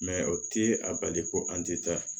o ti a bali ko an ti taa